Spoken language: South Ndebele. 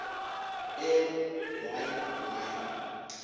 m y y